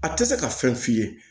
A tɛ se ka fɛn f'i ye